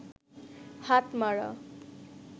হাতমারা